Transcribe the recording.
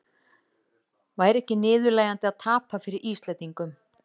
Væri ekki niðurlægjandi að tapa fyrir Íslendingum?